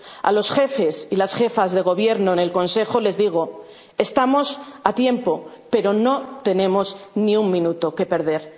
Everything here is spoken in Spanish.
recorrer. A los jefes y las jefas de Gobierno en el Consejo les digo estamos a tiempo, pero no tenemos ni un minuto